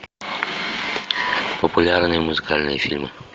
популярные музыкальные фильмы